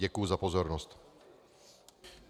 Děkuji za pozornost.